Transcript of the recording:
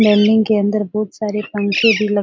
के अंदर बहोत सारे पंखे भी लग --